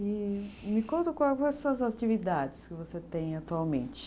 E me conta as suas atividades que você tem atualmente?